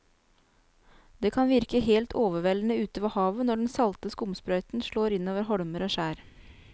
Det kan virke helt overveldende ute ved havet når den salte skumsprøyten slår innover holmer og skjær.